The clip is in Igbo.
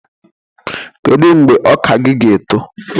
Kedu mgbe ọka gị ga-eto?